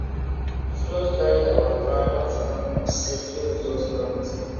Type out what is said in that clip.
flood carry our groundnut um seeds wey we just plant